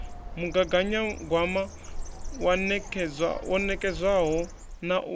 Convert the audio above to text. mugaganyagwama wo nekedzwaho na u